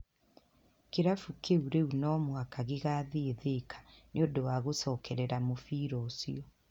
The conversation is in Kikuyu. Kĩrabu kĩu rĩu no mũhaka gĩgathiĩ Thĩka nĩ ũndũ wa gũcokerera mũbira ũcio.